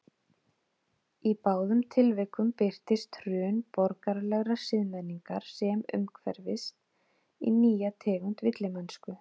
Í báðum tilvikum birtist hrun borgaralegrar siðmenningar sem umhverfist í nýja tegund villimennsku.